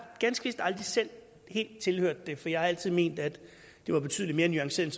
ganske vist aldrig selv helt tilhørt det for jeg har altid ment at det var betydelig mere nuanceret